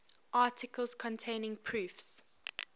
articles containing proofs